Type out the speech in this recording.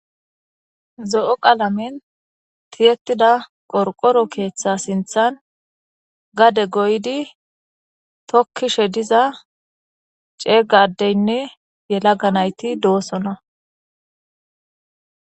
zo7o qalamen tiyettida qorqoro keeththa sinthan gade goydi tokkishe diza ceega addeynne yelaga nayti doosona